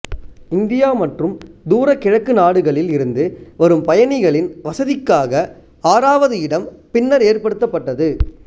India மற்றும் தூரகிழக்கு நாடுகளில் இருந்து வரும் பயணிகளின் வசதிக்காக ஆறாவது இடம் பின்னர் ஏற்படுத்தப்பட்டது